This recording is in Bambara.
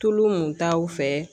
Tulu mun taw fɛ